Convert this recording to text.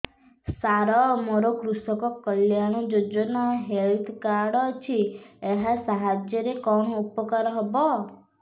ସାର ମୋର କୃଷକ କଲ୍ୟାଣ ଯୋଜନା ହେଲ୍ଥ କାର୍ଡ ଅଛି ଏହା ସାହାଯ୍ୟ ରେ କଣ ଉପକାର ହବ